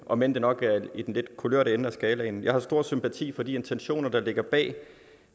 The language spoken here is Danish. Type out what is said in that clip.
om end det nok er i den lidt kulørte ende af skalaen jeg har stor sympati for de intentioner der ligger bag